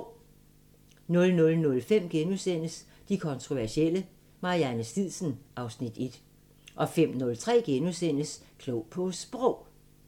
00:05: De kontroversielle – Marianne Stidsen (Afs. 1)* 05:03: Klog på Sprog *